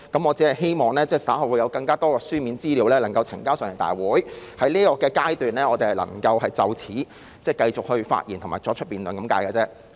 我只是希望稍後會有更多書面資料能呈交立法會，而我們在這個階段能就此繼續發言及辯論。